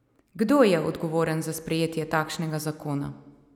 Kdo je odgovoren za sprejetje takšnega zakona?